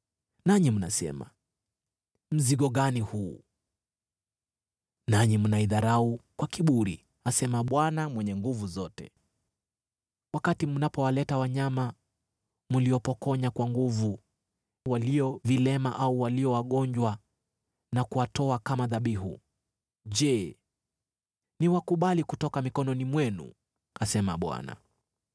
Nanyi mnasema, ‘Mzigo gani huu!’ Nanyi mnaidharau kwa kiburi,” asema Bwana Mwenye Nguvu Zote. “Wakati mnapowaleta wanyama mliopokonya kwa nguvu, walio vilema au walio wagonjwa na kuwatoa kama dhabihu, je, niwakubali kutoka mikononi mwenu?” asema Bwana .